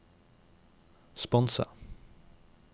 sponse